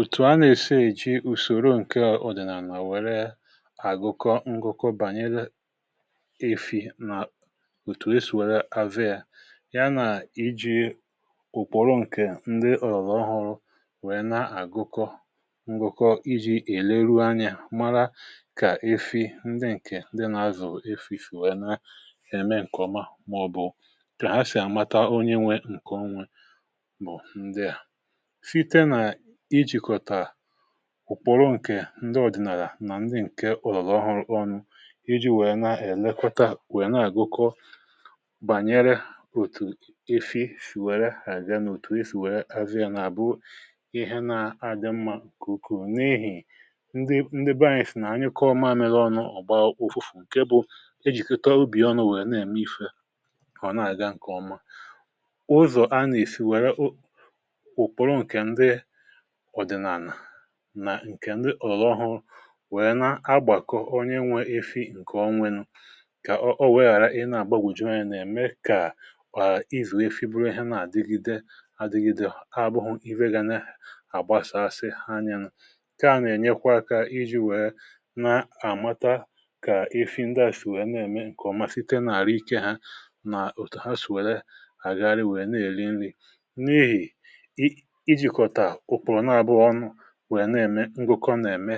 Ùtù a na-èsè, èjì ùsòrò nke ọ̀dị̀nàlà, nà nà-wère àgụkọ ngụkọ bànyere efi̇ nà òtù e sì wère avé ya, ya nà iji̇ ụ̀kpọ̀rụ nke ndị ọ̀lọ̀ ọrụ, wèe na-agụkọ ngụkọ iji̇ èleru anya, màra kà efi̇ ndị nke ndị nà-azụ̀ efi̇ fìwère na-èmé nke ọma, màọ̀bụ̀ kà ha sì àmata onye nwèrè nke onwe. Bụ̀ ndị à, ùkpòro nke ndị ọ̀dị̀nàlà nà ndị nke òlòlò ọhụ̀rụ̀ ọnụ, iji̇ wèe nà-èlekwa, wèe na-àgụkọ bànyere òtù efi̇ sì wère hàga n’òtù e sì wère azịa. um N’àbụ ihe na-agị mmá, kùkù n’ehì ndị “batch,” nà ha nyekọọ maamịa ọnụ̇, ọ̀gba ụfụ̇fụ̇ nke bụ̇ ejìkọtà ubì ọnụ̇, wèe na-ème ife họ̀ na-àga nke ọma. Ụzọ̀ a nà-èsi wère, nke ndị òlọhụ wèe na-agbàkọ onye nwèrè efi nke onwe nụ, kà ọ weghàra ị na-àgbagwùju,.. nà-ème kà ị zùwe fibùrù ihe nà-àdịgide adịgide. Ọ̀ bụghụ iwe ga nà-ehè àgbasàsị ha nye nụ̇ um Nke a nà-ènyekwa àkà iji̇ wèe nà-àmata kà efi ndị à sì wèe na-ème nke ọma, site n’àrụ̀ ike hȧ, nà òtù ha sì wèe lee àgari, wèe na-èri nri̇. um N’ihì wèe na-ème ngụkọ, nà-ème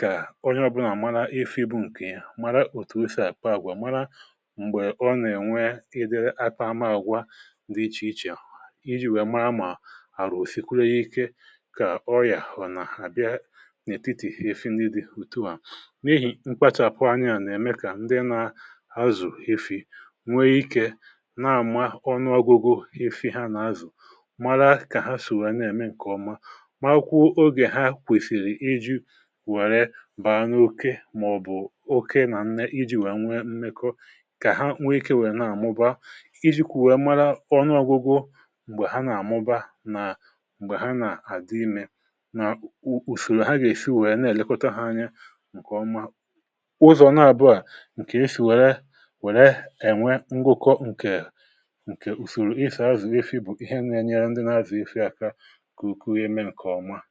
kà ọrụ ọbụnà mara, efi bụ̇ nke ya, mara òtù òsè, àị̀pọ̀ àgwà, mara m̀gbè ọ nà-ènwe ịdịrị àtà àmà, àgwà dị iche-iche... Iji̇ wèe màa ma àrụ̀ osìkwuru ya ike, kà ọyà hụ̀ nà-àbịa n’ètitì efi, nì dị òtù à, n’ehì mkpachàpụ anya à nà-ème. Nke à na-èmekà ndị nà-azụ̀ efi, nwee ike n’àma ọnụ agụgụ efi̇ ha nà-azụ̀, màra kà ha sì wèe na-ème nke ọma. Ọkwàfẹ̀ nà-àkwụ ogè ha kwèsìrì iji wẹ̀rẹ baa n’oké, màọ̀bụ̀ òkè nà nne, iji wẹ̀a nwè mmekọ, kà ha nwè ike wèrè na-àmụba, iji kwu̇rẹ̀ màra ọ̀nụ ọgụgụ, m̀gbè ha nà-àmụba, nà m̀gbè ha nà-àdị imē, nà ùsòrò ha gà-èsi um wèe na-èlekọta ha anya nke ọma. Ụzọ̀ na-àbụà nke resì wẹ̀rẹ-wẹ̀rẹ ngwụkọ,.. nke ùsòrò ịsà azụ̀ efi̇, bụ̀ ihe na-enyere ndị nà-azụ̀ efi̇ àka. Ẹnyì̇ nà-ẹ̀zẹ̀zé, gà-ẹ̀zẹ̀zé, gà-ẹ̀zẹ̀zé̀.